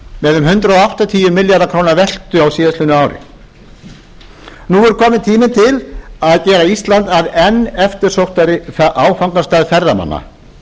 með um hundrað áttatíu milljarða króna veltu á síðastliðnu ári nú er kominn tími til að gera ísland að enn eftirsóttari áfangastað ferðamanna